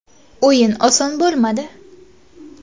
O‘yin oson bo‘lmadi.